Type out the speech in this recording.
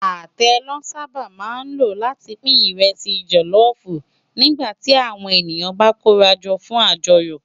Atẹ lò sàbá má ló láti pin ìrẹsì jòlòfú nigbá ti áwòn eniyàn bá kórájò fún ájòyò